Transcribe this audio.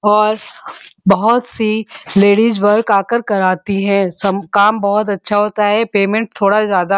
और बोहोत सी लेडीज वर्क आ कर कराती हैं। सम काम बोहोत अच्छा होता है। पेमेंट थोड़ा ज्यादा --